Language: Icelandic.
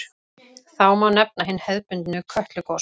Þá má nefna hin hefðbundnu Kötlugos.